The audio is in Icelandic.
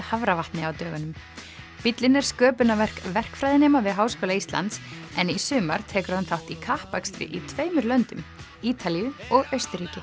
Hafravatni á dögunum bíllinn er sköpunarverk verkfræðinema við Háskóla Íslands en í sumar tekur hann þátt í kappakstri í tveimur löndum Ítalíu og Austurríki